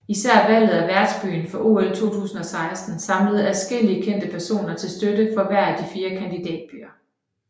Især valget af værtsbyen for OL 2016 samlede adskillige kendte personer til støtte for hver af de fire kandidatbyer